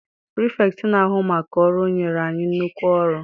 Pirifetktị na-ahu maka ọrụ nyere anyị nnukwu ọrụ.